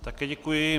Také děkuji.